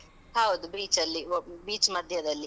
ಹೌದು. beach ಅಲ್ಲಿ, beach ಮಧ್ಯದಲ್ಲಿ.